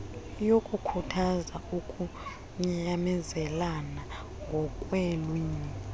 yokukhuthaza ukunyamezelana ngokweelwimi